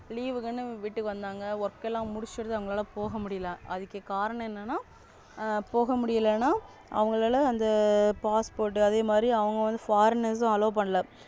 Leave விட்டுட்டு வந்தாங்க. Work லாம் முடிச்சிட்டு அங்கலாலா போக முடியல இதுக்கு காரணம் என்னனா போக முடியலனா அவங்களால அந்த Passport அதே மாதிரி அவங்க வந்து Foreigners allow பண்ணல.